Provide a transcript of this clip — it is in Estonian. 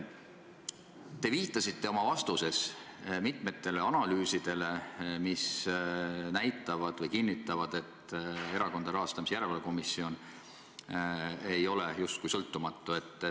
Te viitasite oma vastustes mitmetele analüüsidele, mis näitavad või kinnitavad, et Erakondade Rahastamise Järelevalve Komisjon ei ole justkui sõltumatu.